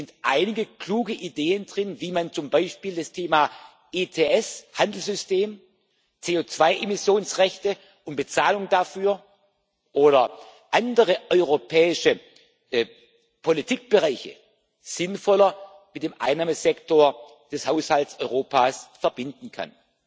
Es sind einige kluge Ideen drin, wie man zum Beispiel das Thema ETS Handelssystem, CO2 Emissionsrechte und Bezahlung dafür oder andere europäische Politikbereiche sinnvoller mit dem Einnahmesektor des Haushalts Europas verbinden kann.